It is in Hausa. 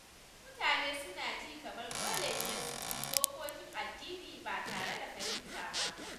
Wasu mutane suna ji kamar dole ne su bi dokokin addini ba tare da fahimta ba.